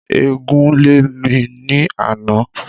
Eégún lè mi ni àná